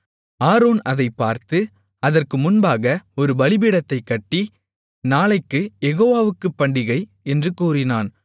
Aaron அதைப் பார்த்து அதற்கு முன்பாக ஒரு பலிபீடத்தைக் கட்டி நாளைக்குக் யெகோவாவுக்குப் பண்டிகை என்று கூறினான்